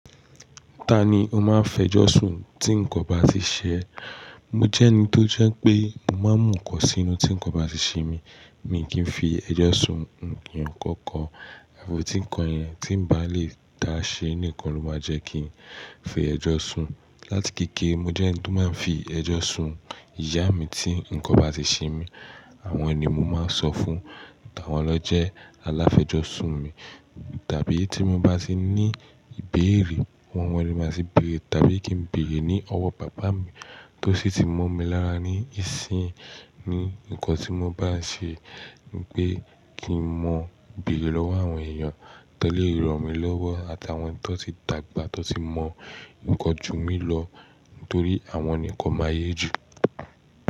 Ta ni o máa ń fẹ́ jọ́sùn tí nǹkan bá tì ṣe ẹ? Mo jẹ́ ẹni tó jẹ́ pé mo máa ń mú nǹkan sínú tí nǹkan bá ti ṣe mí, mi kì í fi ẹjọ́ṣun hàn ènìyàn kankan. Àfo tí nǹkan yẹn tí ǹ bá lè dá ṣe nìkan ló máa jẹ́ kí n fi ẹjọ́ṣun. Látìkéké, mo jẹ́ ẹni tó máa ń fi ẹjọ́ṣun ìyá mi tí nǹkan bá ti ṣe mí, àwọn ènìyàn ni mo máa ń sọ fún, àwọn lọ jẹ́ aláféjọ́ṣún mi. Tàbí tí mo bá sì ní ìbéèrè, wọ́n wọ́n lè máa sì béèrè tàbí kí n béèrè ní ọwọ́ bàbá mi tó sì ti mọ̀ mí lára ní ìsìn ni nǹkan tí mo bá ṣe wípé kì í mọ̀ béèrè lọ́wọ́ àwọn èèyàn tó lè ranmí lọ́wọ́ àtàwọn tọ ti dàgbà tó sì mọ̀ nǹkan ju mí lọ torí àwọn nǹkan máa yé jù.